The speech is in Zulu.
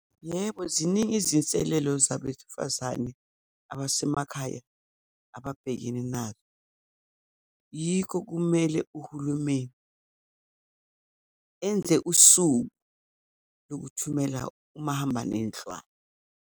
Yebo, ziningi izinselelo zabesifazane abasemakhaya ababhekene nazo. Yikho kumele uhulumeni enze usuku lokuthumela umahamba nendlwana.